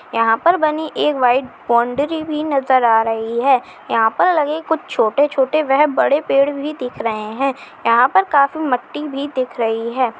यहाँ पर बनी एक वाइट बाउंड्री भी नजर आ रही है यहाँ पर लगे कुछ छोटे-छोटे वह बड़े पेड़ भी दिख रहे है यहाँ पर काफी मट्टी भी दिख रही है।